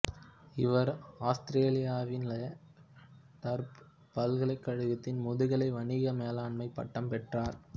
இவர் ஆஸ்திரேலியாவின் La Trobe பல்கலைக்கழகத்தில் முதுகலை வணிக மேலாண்மை பட்டம் பெற்றார்